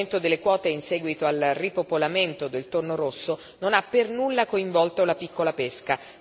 L'aumento delle quote in seguito al ripopolamento del tonno rosso non ha per nulla coinvolto la piccola pesca.